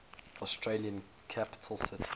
australian capital cities